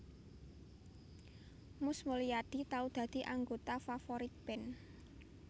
Mus Mulyadi tau dadi anggota Favourite Band